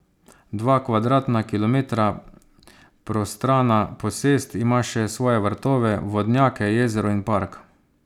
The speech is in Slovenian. Dva kvadratna kilometra prostrana posest ima še svoje vrtove, vodnjake, jezero in park.